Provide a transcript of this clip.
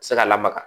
Se ka lamaga